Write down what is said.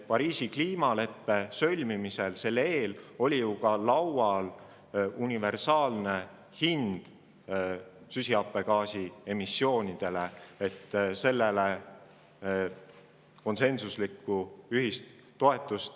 Pariisi kliimaleppe sõlmimise eel oli ju laual universaalne hind süsihappegaasi emissioonidele, aga sellele konsensuslikku toetust ei leitud.